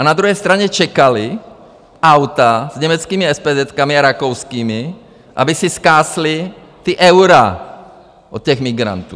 A na druhé straně čekala auta s německými espézetkami a rakouskými, aby si zkásli ta eura od těch migrantů.